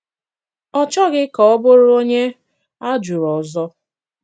Ọ chọghị kà ọ bụrụ ònye á jụrụ ọzọ.